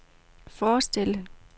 forestille